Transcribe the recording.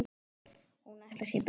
Og hún ætlar sér burt.